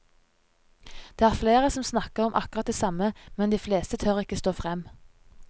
Det er flere som snakker om akkurat det samme, men de fleste tør ikke stå frem.